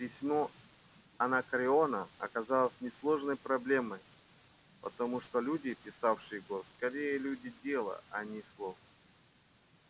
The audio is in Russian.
письмо анакреона оказалось несложной проблемой потому что люди писавшие его скорее люди дела а не слов